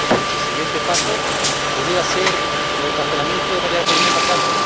El siguiente paso pudiera ser el encarcelamiento de María Corina Machado.